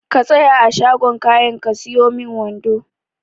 Ka tsaya a shagon kayan ka siyo min wando.